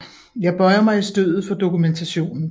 Jeg bøjer mig i støvet for dokumentationen